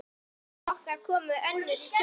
Á hæla okkar komu önnur hjón.